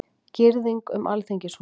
Girðing um Alþingishúsið